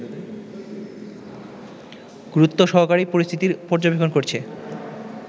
গুরুত্বসহকারেই পরিস্থিতি পর্যবেক্ষণ করছে